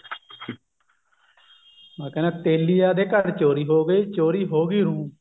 ਕਹਿੰਦਾ ਤੇਲੀਆਂ ਦੇ ਘਰ ਚੋਰੀ ਹੋਗੀ ਹੁੰ